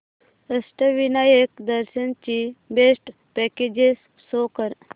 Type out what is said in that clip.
अष्टविनायक दर्शन ची best packages show कर